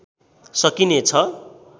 सकिने छ